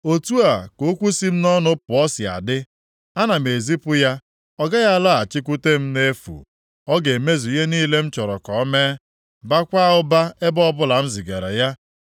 Otu a ka okwu si m nʼọnụ pụọ si adị. Ana m ezipu ya, ọ gaghị alọghachikwute m nʼefu. Ọ ga-emezu ihe niile m chọrọ ka o mee, baakwa ụba ebe ọbụla m zigara ya.